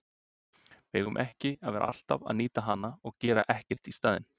Við eigum ekki að vera alltaf að nýta hana og gera ekkert í staðinn.